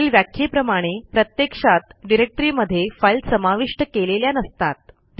वरील व्याख्येप्रमाणे प्रत्यक्षात डिरेक्टरीमध्ये फाईल समाविष्ट केलेल्या नसतात